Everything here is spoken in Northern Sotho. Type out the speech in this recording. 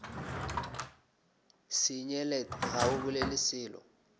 senyelet ga o bolele selo